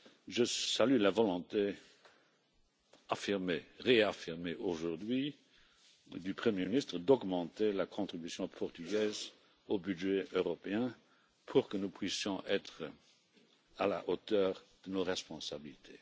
Je salue la volonté affirmée, réaffirmée aujourd'hui, du Premier ministre d'augmenter la contribution portugaise au budget européen pour que nous puissions être à la hauteur de nos responsabilités.